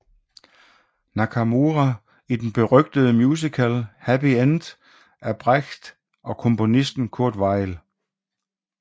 Nakamura i berygtede musical Happy End af Brecht og komponisten Kurt Weill